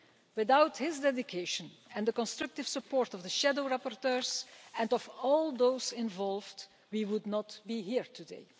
Without his dedication, and the constructive support of the shadow rapporteurs and of all those involved, we would not be here today.